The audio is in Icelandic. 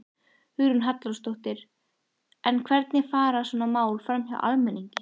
Hugrún Halldórsdóttir: En hvernig fara svona mál framhjá almenningi?